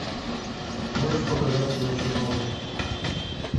можешь показать кино чернобыль